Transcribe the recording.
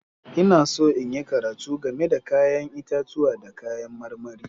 Ina so in yi karatu game da 'ya'yan itatuwa da kayan marmari.